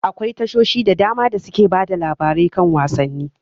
Akwai tashoshin da dama da suke bada labarai kan wasanni.